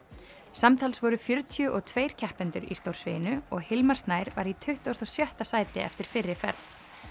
samtals voru fjörutíu og tveir keppendur í stórsviginu og Hilmar Snær var í tuttugasta og sjötta sæti eftir fyrri ferð